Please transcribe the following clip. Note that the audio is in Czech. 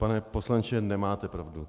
Pane poslanče, nemáte pravdu.